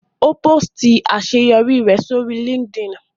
Ó pósìtì àṣeyọrí rẹ̀ sórí LinkedIn